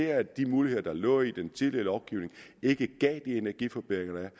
at de muligheder der lå i den tidligere lovgivning ikke gav de energiforbedringer der